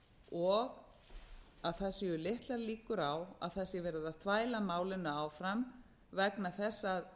og að það séu litlar líkur á að það sé verið að þvæla málinu áfram vegna þess að